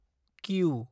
Q